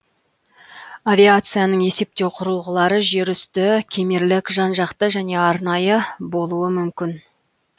авиацияның есептеу кұрылғылары жер үсті кемерлік жан жақты және арнайы болуы мүмкін